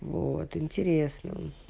вот интересно